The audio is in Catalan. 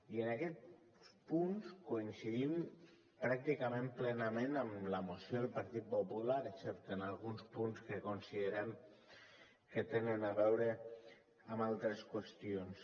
i en aquests punts coincidim pràcticament plenament amb la moció del partit popular excepte en alguns punts que considerem que tenen a veure amb altres qüestions